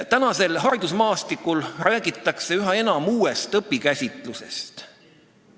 Praegusel haridusmaastikul räägitakse üha enam uuest õpikäsitusest.